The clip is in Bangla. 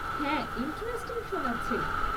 হ্যাঁ, ইন্টারেস্টিং শোনাচ্ছে।